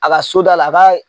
A ka soda la a ka